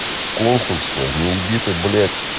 консульство не еби ты блять